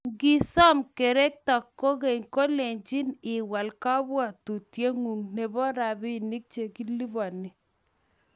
Ngisom kerekto kogey, kelenjin iwal kabwatengung nebo robinik chekilupani